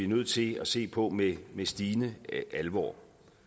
nødt til at se på med stigende alvor